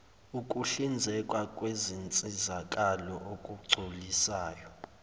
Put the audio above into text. ukuhlinzekwa kwezinsizakalo okugculisayo